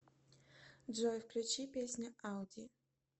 джой включи песня ауди